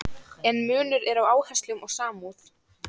En munur er á áherslum og samúð.